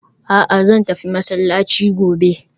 A'a! Zan tafi masallaci gobe